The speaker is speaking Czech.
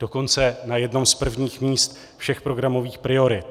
Dokonce na jednom z prvních míst všech programových priorit.